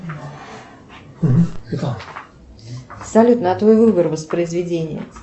салют на твой выбор воспроизведение